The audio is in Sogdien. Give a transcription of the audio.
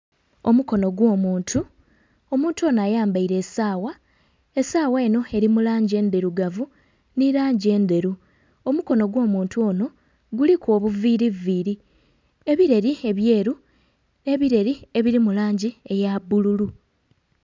Omukono gwo'muntu, omuntu ono ayambaire esawa esawa eno eri mu langi endhirugavu nhi langi endheru. Omukono gwo muntu ono guliku obuviiri viiri, ebireri ebyeru nhe ebireri ebya bbululu.